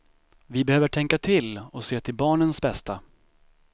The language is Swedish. Vi behöver tänka till och se till barnens bästa.